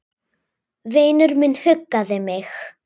Vinur minn huggaði mig.